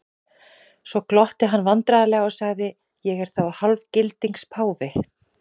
Svo glotti hann vandræðalega og sagði:-Ég er þá hálfgildings páfi?